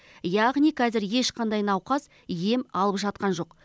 яғни қазір ешқандай науқас ем алып жатқан жоқ